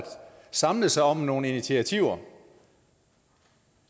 samles om nogle initiativer